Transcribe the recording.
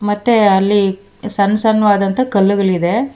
ಮತ್ತೆ ಅಲ್ಲಿ ಸಣ್ ಸಣ್ ವಾದಂತ ಕಲ್ಲುಗಳಿದೆ.